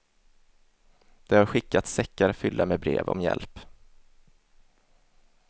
Det har skickats säckar fyllda med brev om hjälp.